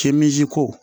Kemisi ko